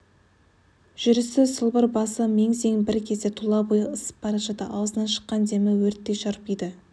жүрісі сылбыр басы мең-зең бір кезде тұла бойы ысып бара жатты аузынан шыққан демі өрттей шарпиды